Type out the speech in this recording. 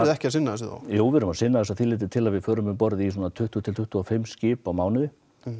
ekki að sinna þessu þá jú við erum að sinna þessu að því leytinu til að við förum um borð í svona tuttugu til tuttugu og fimm skip á mánuði